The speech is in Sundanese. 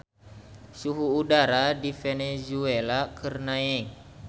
Suhu udara di Venezuela keur naek